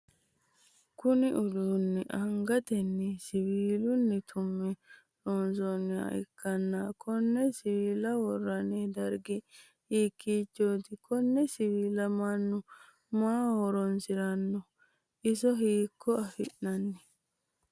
Kunni uduunni angatenni siwiila tume loonsoonniha ikanna konne siwiila woroonni dargi hikiichote? Konne siwiila mannu maaho horoonsirano? Iso hiikko afirano?